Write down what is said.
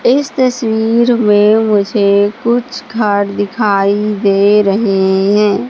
इस तस्वीर में मुझे कुछ घर दिखाई दे रहे हैं।